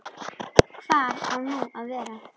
Hvar á nú að vera?